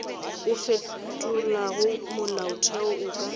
o fetolago molaotheo o ka